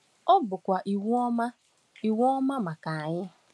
Ọ bụkwa iwu ọma iwu ọma maka anyị.